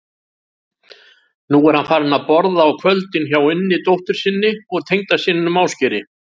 Nú er hann farinn að borða á kvöldin hjá Unni dóttur sinni og tengdasyninum Ásgeiri.